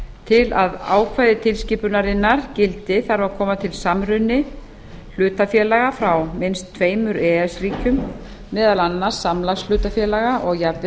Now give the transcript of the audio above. til að ákvæði tilskipunarinnar gildi þarf að koma til samruni hlutafélaga frá minnst tveimur e e s ríkjum meðal annars samlagshlutafélaga og jafnvel